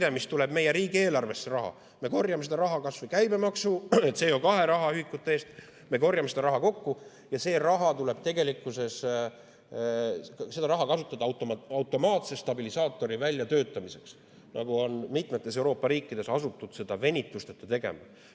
Raha, mis tuleb meie riigieelarvesse, me korjame kas või käibemaksu ja CO2 rahaühikute kujul, me korjame selle kokku ja seda raha tuleb kasutada automaatse stabilisaatori väljatöötamiseks, nagu on mitmetes Euroopa riikides asutud venitusteta tegema.